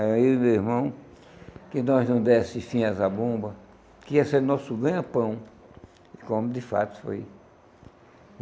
Aí, eu e meu irmão, que nós não desse fim às zabumbas, que ia ser nosso ganha-pão, como de fato foi.